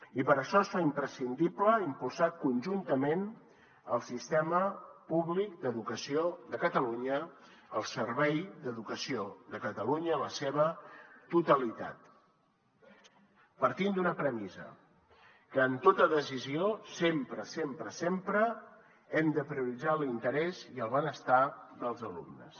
i per això es fa imprescindible impulsar conjuntament el sistema públic d’educació de catalunya el servei d’educació de catalunya en la seva totalitat partint d’una premissa que en tota decisió sempre sempre sempre hem de prioritzar l’interès i el benestar dels alumnes